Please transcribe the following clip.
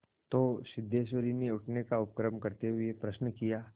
तो सिद्धेश्वरी ने उठने का उपक्रम करते हुए प्रश्न किया